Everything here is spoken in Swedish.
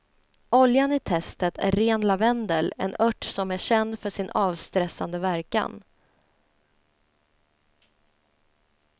Oljan i testet är ren lavendel, en ört som är känd för sin avstressande verkan.